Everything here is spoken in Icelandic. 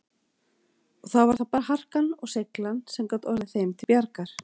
Og þá var það bara harkan og seiglan sem gat orðið þeim til bjargar.